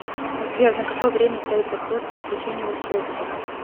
сбер на какое время стоит запрос на отключение устройства